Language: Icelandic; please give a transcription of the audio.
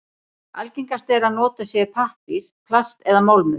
Algengast er að notað sé pappír, plast eða málmur.